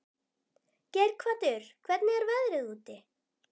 Geirhvatur, hvernig er veðrið úti?